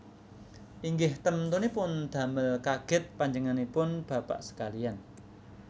Inggih temtunipun damel kagèt panjenenganipun bapak sekaliyan